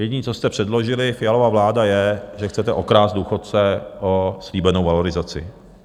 Jediné, co jste předložili, Fialova vláda, je, že chcete okrást důchodce o slíbenou valorizace.